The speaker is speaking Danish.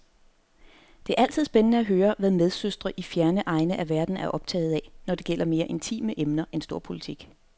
Det er altid spændende at høre, hvad medsøstre i fjerne egne af verden er optaget af, når det gælder mere intime emner end storpolitik.